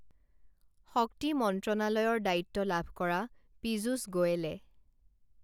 শক্তি মন্ত্ৰণালয়লৰ দ্বায়িত্ব লাভ কৰা পীযুস গোৱোলে